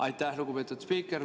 Aitäh, lugupeetud spiiker!